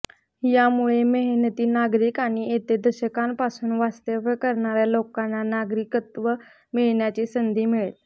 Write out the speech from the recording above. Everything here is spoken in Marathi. यामुळे मेहनती नागरिक आणि येथे दशकांपासून वास्तव्य करणाऱ्या लोकांना नागरिकत्व मिळवण्याची संधी मिळेल